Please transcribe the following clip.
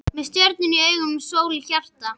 Með stjörnur í augum og sól í hjarta.